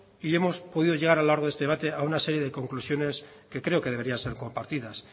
y hemos podido llegar a lo largo de este debate a una serie de conclusiones que creo que deberían ser compartidas